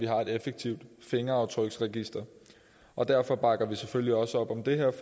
er et effektivt fingeraftryksregister og derfor bakker vi selvfølgelig også op om det her